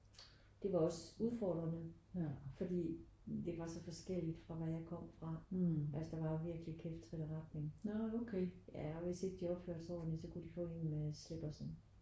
Det var også udfordrende fordi det var så forskelligt fra hvad jeg kom fra. Altså der var jo virkelig kæft trit og retning ja og hvis de ikke opførte sig ordentligt så kunne de få en med slippersen